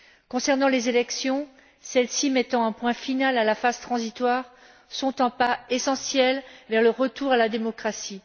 Concernant les élections, celles ci mettant un point final à la phase transitoire, elles sont un pas essentiel vers le retour à la démocratie.